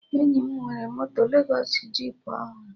Enyi m nwere moto Lezọs jip ọhụrụ